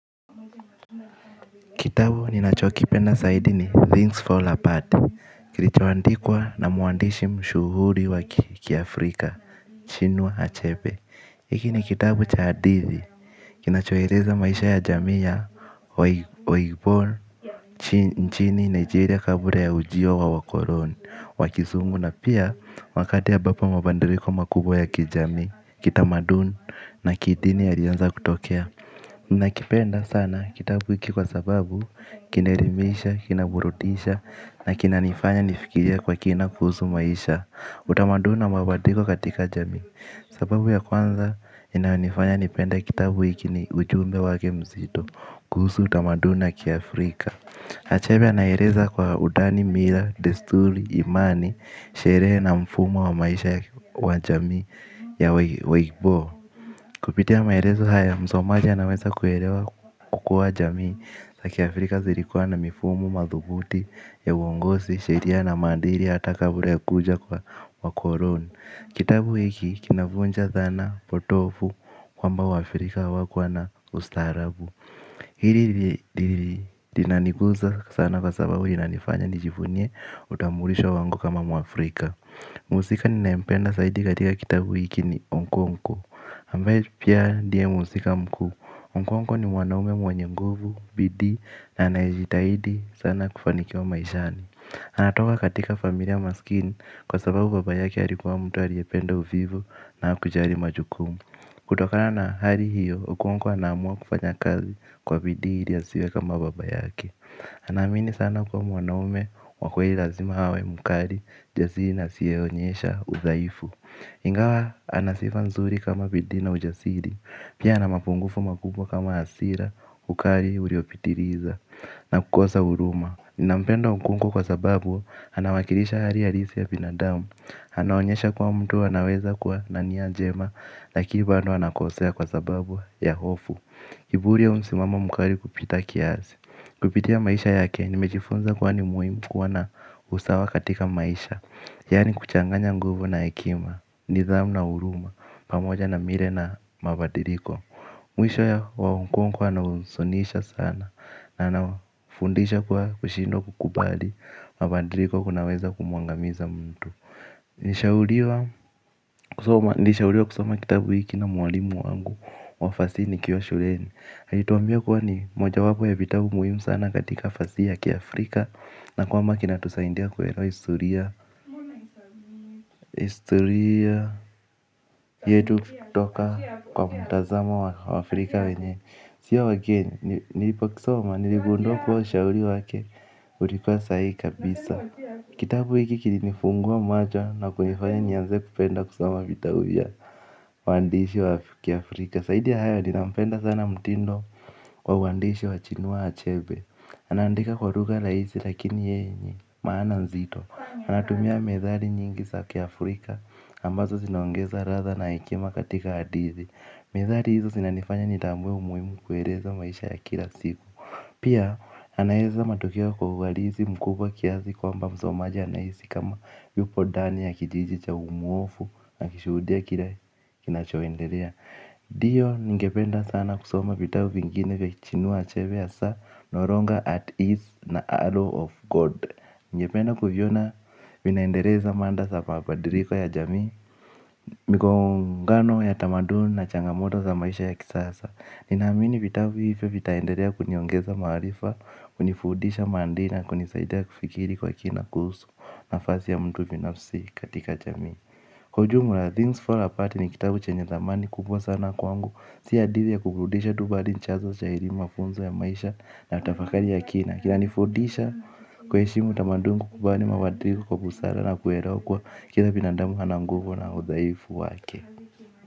Kitabu ninacho kipenda zaidi ni Things Fall Apart. Kilichoandikwa na muandishi mshuhuri wa kiafrika Chinua Achepe hiki ni kitabu cha hadithi. Kinachoeleza maisha ya jamii ya Waibor nchini Nigeria kabla ya ujiwio wa ukoloni. Wa kisumu na pia wakati ambapo mabadiliko makubwa ya kijamii kitamaduni na kidini yalianza kutokea. Nakipenda sana kitabu hiki kwa sababu kinaelimisha, kinaburudisha na kinanifanya nifikirie kwa kina kuhusu maisha. Utamaduni na mabadiliko katika jamii. Sababu ya kwanza inayonifanya nipende kitabu hiki ni ujumbe wake mzito kuhusu utamaduni na kiAfrika Achere anaeleza kwa undani, mila, desturi, imani, sherehe na mfumo wa maisha wa jamii ya waigbo. Kupitia maelezo haya, msomaji anaweza kuelewa kukua jamii zaAfrika zilikuwa na mifumo, madhubuti, ya uongozi, sheria na maandili, hata kabla ya kukuja kwa wakoloni. Kitabu hiki kinavunja dhana, potovu, kwamba wa Afrika hawakuwa na ustarabu. Hili linaniguza sana kwa sababu inanifanya nijivunie utambulisho wangu kama mwafrika. Muhusika ninaempenda zaidi katika kitabu hiki ni Onkwonkwo Ambaye pia ndiye muhusika mkuu, Onkwonkwo ni mwanaume mwenye nguvu, bidii na anayejitahidi sana kufanikiwa maishani. Anatoka katika familia maskini kwa sababu baba yake alikuwa mtu aliyependa uvivu na hakujali majukumu. Kutokana na hali hiyo, Onkwonkwo anaamua kufanya kazi kwa bidii ili asiwe kama baba yake. Anaamini sana kuwa mwanaume, wa kweli lazima awe mkali, jasiri na asiyeonyesha udhaifu. Ingawa anasifa nzuri kama bidii ujasiri. Pia anamapungufu makubwa kama hasira. Ukali uliopitiliza. Na kukosa huruma nampenda Onkwonkwo kwa sababu anawakilisha hali halisi ya binadamu anaonyesha kuwa mtu anaweza kwa na nia njema. Lakini bado anakosea kwa sababu ya hofu kiburi ya msimamo mkali kupita kiasi. Kupitia maisha yake nimejifunza kuwa ni muhimu kuwa na usawa katika maisha. Yani kuchanganya nguvu na hekima, nidhamu na huruma, pamoja na mila na mabadiliko. Mwisho wa Onkwonkwo yanahuzunisha sana anafundisha kuwa kushindwa kukubali mabadiliko kunaweza kumuangamiza mtu. Nilishauriwa kusoma kitabu hiki na mwalimu wangu wa fasihi nikiwa shuleni alituambia kuwa ni moja wapo ya vitabu muhimu sana katika fasihi ya kiAfrika na kwamba kinatusaidia kuelewa historia historia yetu kutoka kwa mtazama wa Afrika wenye sio wa kenya, nilipo kisoma, niligundua kwamba shauri wake. Ulikuwa sahihi kabisa. Kitabu hiki kilinifungua macho na kunifanya nianze kupenda kusoma vitabu vya waandishi wa kiAfrika zaidi ya hayo ninapenda sana mtindo wa uandishi wa Achinua Achebe. Anaandika kwa lugha raisi lakini yenye maana mzito. Anatumia methali nyingi za kiAfrika ambazo zinongeza ladha na hekima katika hadithi. Methali hizo zinanifanya nitambue umuhimu kueleza maisha ya kila siku. Pia anaeza matukio kwa uhalisi mkubwa kiasi kwamba msomaji anahisi kama yupo ndani ya kijiji cha umuofu akishuhudia kila kinachoendelea ndiyo ningependa sana kusoma vitabu vingine kwa Achinua Achebe hasa no longer at ease na arrow of God. Ningependa kuviona vinaendeleza mada za mabadiliko ya jamii, mikongano ya tamaduni na changamoto za maisha ya kisasa. Ninaamini vitabu hivyo vitaendelea kuniongeza maarifa, kunifundisha maadili na kunisaida kufikiri kwa kina kuhusu nafasi ya mtu binafsi katika jamii. Kwa ujumla Things Fall Apart ni kitabu chenye dhamani kubwa sana kwangu. Si hadithi ya kuburudisha tu bali ni chanzo cha elimu mafunzo ya maisha na tafakari ya kina. Kina nifudisha kuheshimu utamanduni kukubali mabadiliko kwa busara na kuelewa kuwa kila binadamu ana nguvu na udhaifu wake.